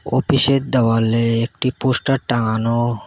ওপিসের দেওয়ালে একটি পোস্টার টাঙানো।